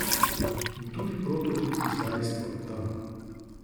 In tudi prototip izdajstva, da.